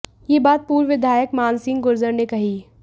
यह बात पूर्व विधायक मान सिंह गुर्जर ने कही